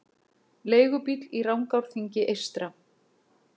Leigubíll í Rangárþingi eystra